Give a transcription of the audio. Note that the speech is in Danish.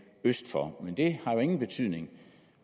øst for men det har jo ingen betydning